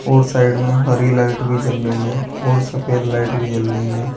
और साइड में हरी लाइट भी जल रही है और सफेद लाइट भी जल रही है।